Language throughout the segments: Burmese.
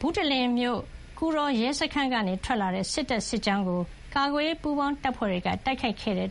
ဘုတလင်မြို့ ကူတော်ရဲစခန်းကနေထွက်လာတဲ့ စစ်တပ်စစ်ကြောင်းကို ကာကွယ်ရေးပူးပေါင်းတပ်ဖွဲ့တွေက တိုက်ခိုက်ခဲ့လို့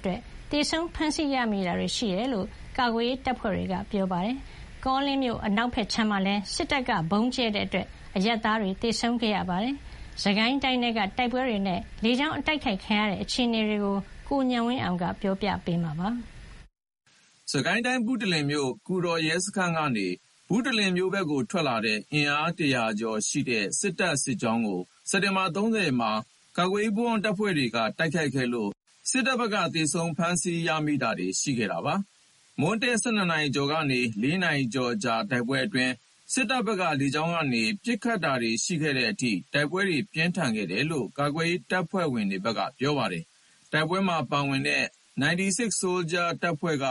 သေဆုံးဖမ်းဆီး ရမိတာတွေရှိတယ်လို့ ကာကွယ်ရေးတပ်ဖွဲ့တွေဘက်က ပြောပါတယ်။ ကောလင်းအနောက်ခြမ်းမှာလည်း စစ်တပ်ရဲ့ ဗုံးကြဲတိုက်ခိုက်မှုအတွင်း အရပ်သား သေဆုံးမှုရှိခဲ့ပါတယ်။ စစ်ကိုင်းတိုင်းထဲက တိုက်ပွဲတွေနဲ့လေကြောင်းတိုက်ခိုက်ခံရမှုအခြေအနေ ရန်ကုန်ကပေးပို့တဲ့သတင်းကို ကိုဉာဏ်ဝင်းအောင်က တင်ပြပေးထားပါတယ်။ စစ်ကိုင်းတိုင်း ဘုတလင်မြို့ ကူတော်ရဲစခန်းကနေ ဘုတလင်မြို့ဘက်ကိုထွက်လာတဲ့ အင်အား ၁၀၀ ကျော်ရှိတဲ့စစ်တပ်စစ်ကြောင်းကို စက်တင်ဘာ ၃၀ ရက်မှာ ကာကွယ်ရေးပူးပေါင်းတပ်ဖွဲ့တွေက တိုက်ခိုက်ခဲ့လို့ စစ်တပ်ဘက်ကသေဆုံးဖမ်းဆီးရမိတာတွေရှိခဲ့ပါတယ်။ မွန်းတည့် ၁၂ နာရီကျော်ကနေ ၄ နာရီကျော်ကြာတဲ့တိုက်ပွဲအတွင်း စစ်တပ်ဘက်က လေကြောင်းကနေ ပစ်ခတ်တာတွေရှိခဲ့တဲ့အထိ တိုက်ပွဲတွေ ပြင်းထန်ခဲ့တယ်လို့ ကာကွယ်ရေး တပ်ဖွဲ့တွေဘက်က ပြောပါတယ်။ တိုက်ပွဲမှာပါဝင်ခဲ့တဲ့ 96 Soldiers တပ်ဖွဲ့က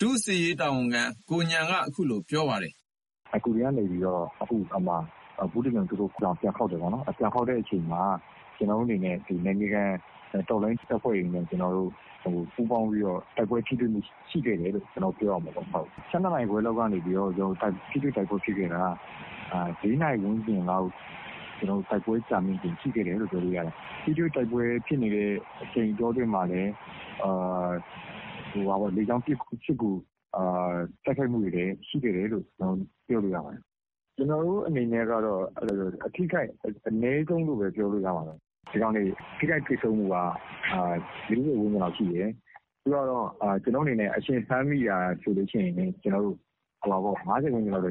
ဒုစစ်ရေးတာဝန်ခံ ကိုဉာဏ်က အခုလို ပြောပါတယ်။ "ကူတော်ကနေ ဘုတလင်ကို ပြန်ခေါက်တယ်ပေါ့နော်။ ပြန်ခေါက်တဲ့အချိန်မှာ ကျနော်တို့အနေနဲ့ နယ်မြေခံတော်လှန်ရေးတပ်ဖွဲ့တွေနဲ့ ပူးပေါင်းပြီးတော့ တိုက်ပွဲထိတွေ့မှုရှိခဲ့တယ်လို့ ပြောရမှာပေါ့။ ၁၂ နာရီခွဲလောက်ကနေ ထိတွေ့တိုက်ပွဲဖြစ်ခဲ့တာ ၄ နာရီဝန်းကျင်လောက်အထိ တိုက်ပွဲက ကြာမြင့်ခဲ့တယ်။ ထိတွေ့တိုက်ပွဲဖြစ်နေတဲ့ အချိန်အတောတွင်းမှာလည်းလေကြောင်းပစ်ကူ တိုက်ခိုက်မှုတွေလည်းရှိခဲ့တယ်လို့ ပြောလို့ရပါတယ်။ ကျနော်တို့အနေနဲ့က အထိခိုက်အနည်းဆုံးလို့ပဲပြောလို့ရတယ်။ ဒီကောင်တွေ ထိခိုက်သေဆုံးမှုက ၄၀ ဝန်းကျင်လောက် ရှိတယ်။ အရှင်ဖမ်းမိတာဆိုရင် ၅၀ ဝန်းကျင်လောက်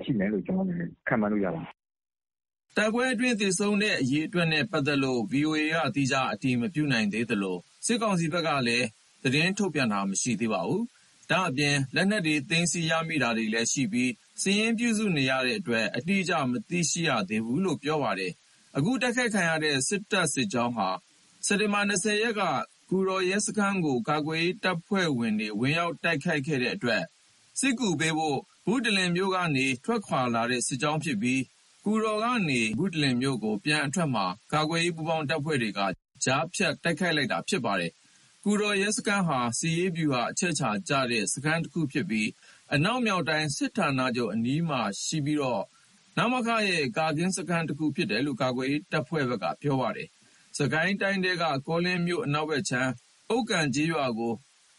ရှိမယ်။" တိုက်ပွဲအတွင်းသေဆုံးတဲ့အရေအတွက်နဲ့ ပတ်သက်လို့ ဗွီအိုအေက သီးခြားအတည်မပြုနိုင်သေးသလို စစ်ကောင်စီဘက်ကလည်း သတင်းထုတ်ပြန်တာမရှိသေးပါဘူး။ ဒါ့အပြင် လက်နက်တွေသိမ်းဆည်းရမိတာတွေလည်းရှိပြီး စာရင်းပြုစုနေတဲ့အတွက် အတိအကျ မသိရှိရသေးဘူးလို့လည်း ပြောပါတယ်။ အခုတိုက်ခိုက်ခံရတဲ့ စစ်တပ်စစ်ကြောင်းဟာ စက်တင်ဘာ ၂၀ ရက်က ကူတော်ရဲစခန်းကို ကာကွယ်ရေးတပ်ဖွဲ့တွေကဝင်ရောက်တိုက်ခိုက်ခဲ့ အတွက် စစ်ကူပေးဖို့ ဘုတလင်မြို့ကနေ ထွက်ခွါလာတဲ့ စစ်ကြောင်းဖြစ်ပြီး ကူတော်ကနေ ဘုတလင်မြို့ကို ပြန်အထွက်မှာ ကာကွယ်ရေး ပူးပေါင်းတပ်ဖွဲ့တွေက ကြားဖြတ်တိုက်ခိုက်လိုက်တာလည်းဖြစ်ပါတယ်။ ကူတော်ရဲစခန်းဟာ စစ်ရေးဗျူဟာအချက်အခြာကျတဲ့စခန်းတခုဖြစ်ပြီး အနောက်မြောက်တိုင်းစစ်ဌာနချုပ်အနီးမှာရှိပြီးတော့ နမခရဲ့ ကာကင်းစခန်းတခုဖြစ်တယ်လို့ကာကွယ်ရေးတပ်ဖွဲ့တွေဘက်က ပြောပါတယ်။ စစ်ကိုင်းတိုင်းထဲက ကောလင်းမြို့အနောက်ခြမ်းက ဥက္ကံကျေးရွာကို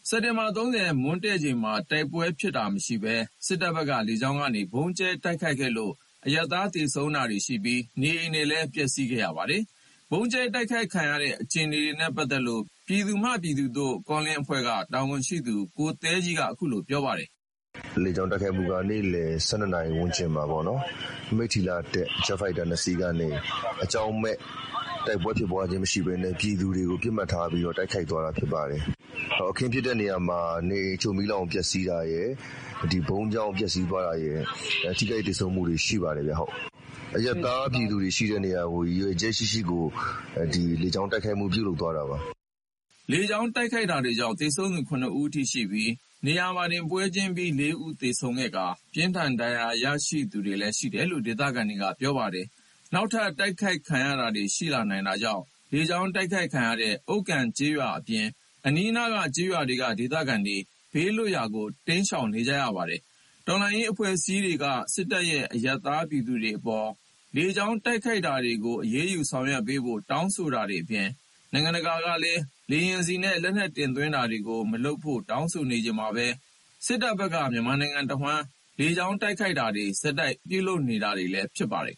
စက်တင်ဘာ ၃၀ မွန်းတည့်ချိန်မှာ တိုက်ပွဲဖြစ်တာမရှိဘဲ စစ်တပ်ဘက်က လေကြောင်းကနေ ဗုံးကြဲတိုက်ခိုက်ခဲ့လို့ အရပ်သား သေဆုံးတာတွေရှိပြီး နေအိမ်ပျက်စီးတာတွေ ရှိခဲ့ပါတယ်။ ဗုံးကြဲတိုက်ခိုက်ခဲ့ရတဲ့အခြေအနေနဲ့ ပတ်သက်လို့ ပြည်သူမှပြည်သူသို့ ကောလင်းအဖွဲ့က တာဝန်ရှိသူကိုသဲကြီးက အခုလို ပြောပါတယ်။ "မနေ့ လေကြောင်းတိုက်ခိုက်မှုက နေ့လည် ၁၂ နာရီဝန်းကျင်မှာပေါ့။ မိထ္ထီလာကနေ တက်လာတဲ့ ဂျက်ဖိုက်တာ ၂ စီးကနေ အကြောင်းမဲ့ တိုက်ပွဲဖြစ်ပွားခြင်းမရှိဘဲနဲ့ ပြည်သူတွေကို တိုက်ခိုက်သွားတာဖြစ်ပါတယ်။ အခင်းဖြစ်တဲ့နေရာမှာနေအိမ်အချို့ မီးလောင်ပျက်စီးတာရယ်၊ ဗုံးကြောင့်ပျက်စီးသွားတာရယ် ထိခိုက်သေဆုံးမှုတွေရှိပါတယ်။ အရပ်သားပြည်သူတွေရှိတဲ့နေရာကို ရည်ရွယ်ချက်ရှိရှိ လေကြောင်း တိုက်ခိုက်မှု ပြုလုပ်သွားတာပါ။" လေကြောင်းတိုက်ခိုက်တာကြောင့် သေဆုံးသူ ၇ ဦးအထိရှိပြီး နေရာတင်ပွဲချင်းပြီး ၄ ဦးသေဆုံးခဲ့တာနဲ့ ပြင်းထန်ဒဏ်ရာရရှိသူတွေလည်း ရှိတယ်လို့ဒေသခံတွေက ပြောပါတယ်။ နောက်ထပ် တိုက်ခိုက်ခံရတာတွေရှိလာနိုင်တာကြောင့်လေကြောင်းတိုက်ခိုက်ခံရတဲ့ ဥက္ကံကျေးရွာ အပြင် အနီးနားက ကျေးရွာတွေက ဒေသခံတွေ ဘေးလွတ်ရာတိမ်းရှောင်နေပါတယ်။ တော်လှန်ရေးအဖွဲ့အစည်းတွေက စစ်တပ်ရဲ့ အရပ်သား ပြည်သူတွေအပေါ် လေကြောင်းတိုက်ခိုက်တာတွေကိုအရေးယူဆောင်ရွက်ပေးဖို့ တောင်းဆိုတာတွေအပြင် နိုင်ငံတကာကလည်း လေယာဉ်ဆီနဲ့ လက်နက်တင်သွင်းတာတွေမလုပ်ဖို့ တောင်းဆိုနေချိန်မှာပဲ စစ်တပ်ဘက်က မြန်မာနိုင်ငံတဝှမ်း လေကြောင်းကနေ ဆက်လက်တိုက်ခိုက်နေတာလည်းဖြစ်ပါတယ်